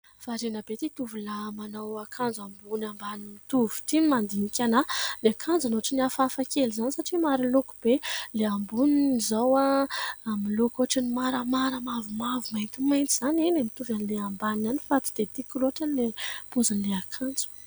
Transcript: Varina be ity tovolahy manao akanjo ambony ambany mitovy ity ny mandinika anahy. Ny akanjony ohatry ny hafahafa kely izany satria maro loko be. Ilay amboniny izao amin'ny loko ohatry ny maramara, mavomavo, maintimainty izany. Eny e! mitovy amin'ilay ambany ihany fa tsy dia tiako loatra ny pozin'ilay akanjo.